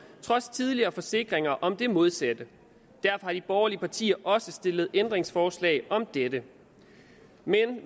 trods tidligere forsikringer om det modsatte derfor har de borgerlige partier også stillet ændringsforslag om dette men